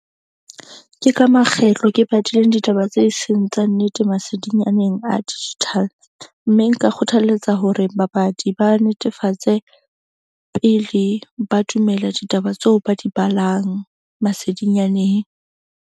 Ke ka makgetlo ke badileng ditaba tse seng tsa nnete masedinyaneng a digital. Mme nka kgothaletsa hore babadi ba netefatse pele ba dumela ditaba tseo ba di balang masedinyaneng.